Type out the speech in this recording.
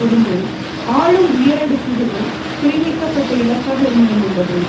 இருந்தே ஆளும் உயரடுக்கிற்குள் குறிவைக்கப்பட்ட இலக்காக இருந்து வந்துள்ளது